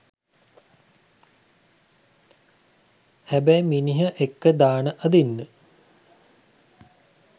හැබැයි මිනිහ එක්ක දාන අදින්න